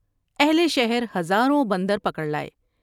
اہل شہر ہزاروں بندر پکڑ لائے ۔